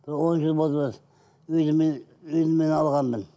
бір он жыл болды үйді үйді мен алғанмын